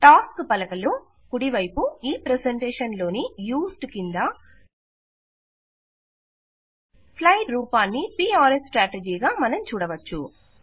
task పలక లో కుడివైపు ఈ ప్రెజెంటేషన్ లోని యూజ్డ్ క్రింద స్లైడ్ రూపాన్ని పిఆర్ ఎస్ స్ట్రాటజీ గా మనం చూడవచ్చు